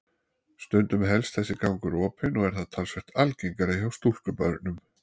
Stundum helst þessi gangur opinn og er það talsvert algengara hjá stúlkubörnum.